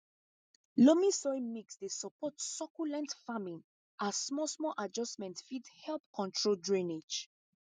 loamy soil mix dey support succulent farming as small small adjustment fit help control drainage